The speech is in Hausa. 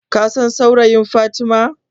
Kasan saurayin Fatima?